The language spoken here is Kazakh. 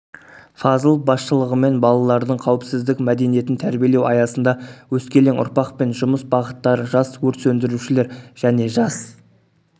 фазылов басшылығымен балалардың қауіпсіздіктің мәдениетін тәрбиелеу аясында өскелең ұрпақпен жұмыс бағыттары жас өрт сөндірушілер және жас